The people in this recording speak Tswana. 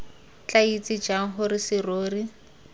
tla itse jang gore serori